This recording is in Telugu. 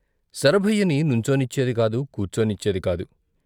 శరభయ్యని నుంచోనిన్వేది కాదు, కూర్చోనిచ్చేది కాదు.